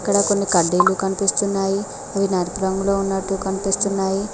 నాకొన్ని కడ్డీలు కనిపిస్తున్నాయి అవి నలుపు రంగులో ఉన్నట్టు కనిపిస్తున్నాయి.